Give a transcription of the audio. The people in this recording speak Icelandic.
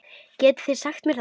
Getið þið sagt mér það?